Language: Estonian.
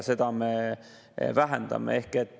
Seda me vähendame.